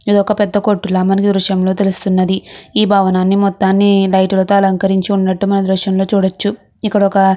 ఇది ఒక పెద్ద కొట్టు ల మనకి దృశ్యం లో తెల్లుస్తునది ఈ భవనాన్ని మొత్తాన్ని లైట్లతో అలంకరించి ఉన్నటు మనం ఏ దృశ్యం లో చూడవచ్చు ఇక్కడ ఒక--